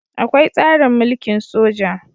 Akwai tsarin mulkin soja